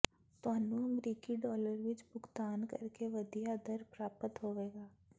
ਤੁਹਾਨੂੰ ਅਮਰੀਕੀ ਡਾਲਰ ਵਿੱਚ ਭੁਗਤਾਨ ਕਰਕੇ ਵਧੀਆ ਦਰ ਪ੍ਰਾਪਤ ਹੋਵੇਗੀ